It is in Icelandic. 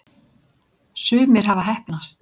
sumir hafa heppnast